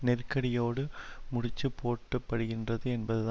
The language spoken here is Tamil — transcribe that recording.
நெருக்கடியோடு முடிச்சு போட்டப்படுகின்றது என்பதுதான்